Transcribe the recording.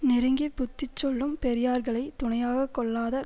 நெருங்கி புத்தி சொல்லும் பெரியார்களைத் துணையாக கொள்ளாத